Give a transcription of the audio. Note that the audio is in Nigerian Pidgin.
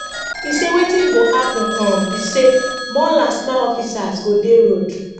e say wetin go happun um be say more lastma officers go dey road